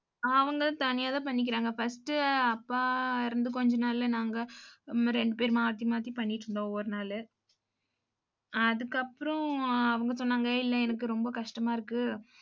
அவங்களும் தனியா தான் பண்ணிக்கிறாங்க first அப்பா இறந்த கொஞ்ச நாள்ல நாங்க உம் ரெண்டு பேரும் மாத்தி மாத்தி பண்ணிட்டு இருந்தோம் ஒவ்வொரு நாளு அதுக்கப்புறம் அவங்க சொன்னாங்க இல்ல எனக்கு ரொம்ப கஷ்டமா இருக்கு